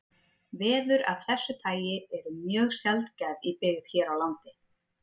Veður af þessu tagi eru mjög sjaldgæf í byggð hér á landi.